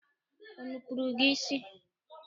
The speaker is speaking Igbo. O nupuru gị isi?